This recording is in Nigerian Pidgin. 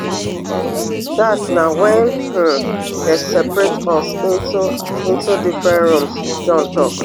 dat na wen um dem separate us into into different rooms john tok